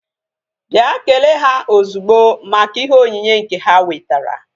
Bịa kelee ha ozugbo maka ihe onyinye nke ha wetara!